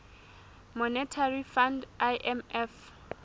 monetary fund imf